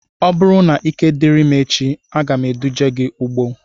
Ọ bụrụ na ike diri m echi, aga m eduje gị ugbo